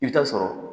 I bɛ taa sɔrɔ